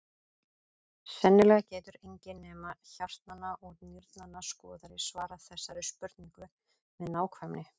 Sennilega getur enginn nema hjartnanna og nýrnanna skoðari svarað þessari spurningu með nákvæmni.